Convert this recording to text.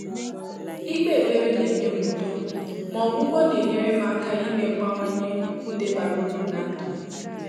Íkpé ékpèré nà-ényé m údo, mà ọ́gwụ́gwọ́ nà-ényéré m áká ímé mg bànwe ndị́ bàrà úrù n’á ndụ́.